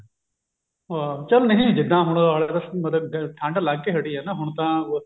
ਹਾਂ ਚੱਲ ਨਹੀਂ ਜਿੱਦਾਂ ਹੁਣ ਆਲੇ ਦੁਆਲੇ ਮਤਲਬ ਠੰਡ ਲੰਗ ਕੇ ਹਟੀ ਹੈ ਨਾ ਹੁਣ ਤਾਂ